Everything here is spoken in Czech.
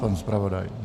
Pan zpravodaj?